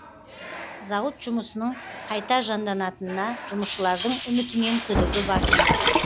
зауыт жұмысының қайта жанданатынына жұмысшылардың үмітінен күдігі басым